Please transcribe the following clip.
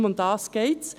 Nur darum geht es.